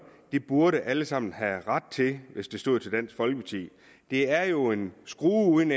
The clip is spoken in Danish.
det burde alle sammen have ret til hvis det stod til dansk folkeparti det er jo en skrue uden